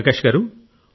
ప్రకాశ్ గారూ